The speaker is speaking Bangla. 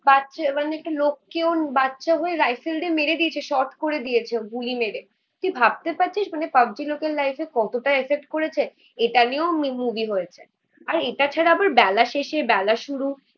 বাচ্চা মানে একটা লোককেও বাচ্চা হয়ে রাইফেল দিয়ে মেরে দিয়েছে শর্ট করে দিয়েছে ও গুলি মেরে তুই ভাবতে পারছিস মানে পাগল লোকের লাইফে কতটা এফেক্ট করেছে এটা নিয়েও আমি মুভি হয়েছে. আর এটা ছাড়া আবার বেলাশেষে বেলা শুরু